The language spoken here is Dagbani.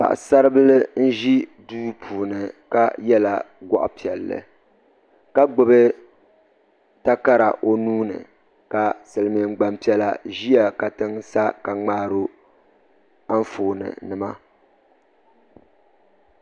Paɣasabili n ʒi duu puuni ka yela goɣa piɛlli ka gbibi takara o nuuni ka Silimiin gbampiɛla ʒia katiŋ sa ka ŋmaari o anfooni nima.